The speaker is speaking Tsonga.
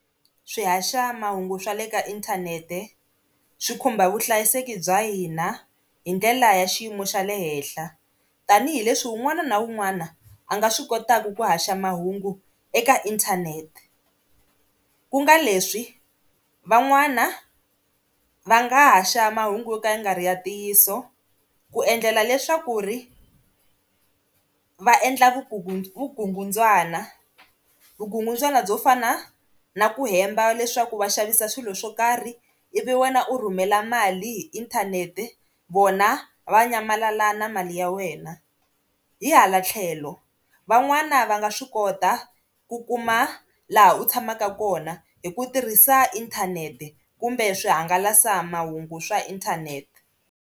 Swihaxamahungu swa le ka inthanete swi khumba vuhlayiseki bya hina hi ndlela ya xiyimo xa le henhla tanihileswi wun'wana na wun'wana a nga swi kotaka ku haxa mahungu eka inthanete, ku nga leswi van'wana va nga haxa mahungu yo ka ya nga ri ntiyiso ku endlela leswaku ri va endla vukungu, vukungundzwana byo fana na ku hemba leswaku va xavisa swilo swo karhi ivi wena u rhumela mali hi inthanete vona va nyamalala na mali ya wena hi hala tlhelo van'wana va nga swi kota ku kuma laha u tshamaka kona hi ku tirhisa inthanete kumbe swihangalasamahungu swa inthanete.